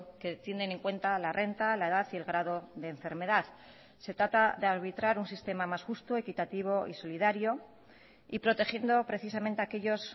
que tienen en cuenta la renta la edad y el grado de enfermedad se trata de arbitrar un sistema más justo equitativo y solidario y protegiendo precisamente a aquellos